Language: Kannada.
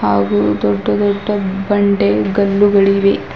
ಹಾಗು ದೊಡ್ಡ ದೊಡ್ಡ ಬಂಡೆ ಗಲ್ಲುಗಳಿವೆ.